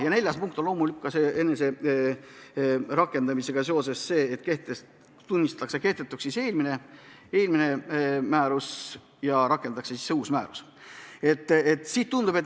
Ja neljas punkt on ka: selle määruse rakendamisega seoses tunnistatakse eelmine määrus kehtetuks.